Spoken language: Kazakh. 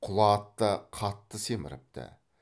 құла ат та қатты семіріпті